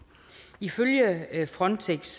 ifølge frontex